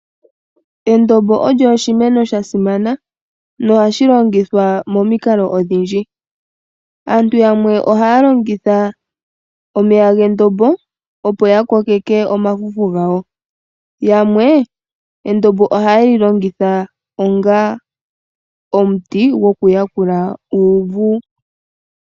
Endombo olyo oshimeno sha simana, na ohashi longithwa monikalo odhindji. Aantu yamwe ohaa longitha omeya gendombo, opo ya kokeke omafufu gawo. Yamwe endombo ohaye li longitha onga omuti gwoku panga uuvu.